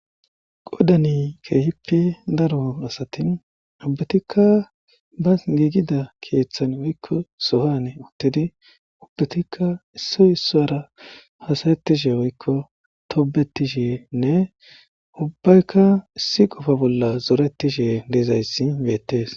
qodani keehippe daron asatin ubbetikka ba giigida keeththan woykko sohane uttidi ubbetikka issoy issara hasayettishe woykko toobetishenne ubbaykka issi qofa bolla zoretishe deezayssi beettees